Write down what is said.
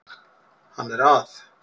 Hann er að